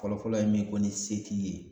Fɔlɔfɔlɔ ye min ko ni se t'i ye.